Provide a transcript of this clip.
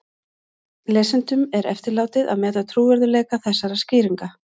Lesendum er eftirlátið að meta trúverðugleika þessarar skýringar.